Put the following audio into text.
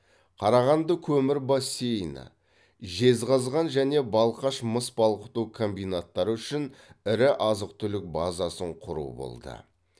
қарағанды көмір бассейні жезқазған және балқаш мыс балқыту комбинаттары үшін ірі азық түлік базасын құру болды